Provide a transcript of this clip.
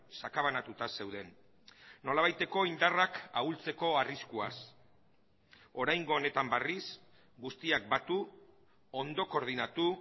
sakabanatuta zeuden nolabaiteko indarrak ahultzeko arriskuaz oraingo honetan berriz guztiak batu ondo koordinatu